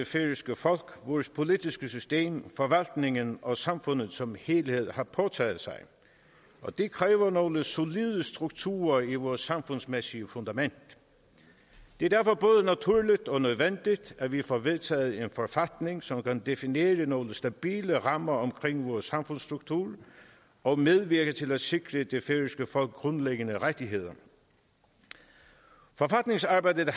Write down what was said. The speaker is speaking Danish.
færøske folk vores politiske system forvaltningen og samfundet som helhed har påtaget sig og det kræver nogle solide strukturer i vores samfundsmæssige fundament det er derfor både naturligt og nødvendigt at vi får vedtaget en forfatning som kan definere nogle stabile rammer omkring vores samfundsstrukturer og medvirke til at sikre det færøske folk grundlæggende rettigheder forfatningsarbejdet